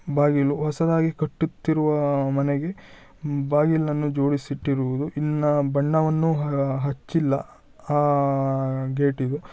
ಬಾಗಿಲು ಹೊಸದಾಗಿ ಕಟ್ಟುತ್ತಿರುವ ಮನೆಗೆ ಬಾಗಿಲನ್ನು ಜೋಡಿಸಿ ಇಟ್ಟಿರುವುದು ಇಲ್ಲಿ ಬಣ್ಣವನ್ನು ಹಚ್ಚಿಲ್ಲ ಆ ಗೇಟಿಗೆ .